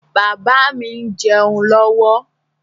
Bàbá mi ń jẹ́un lọ́wọ́